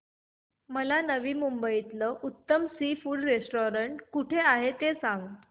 मला नवी मुंबईतलं उत्तम सी फूड रेस्टोरंट कुठे आहे ते सांग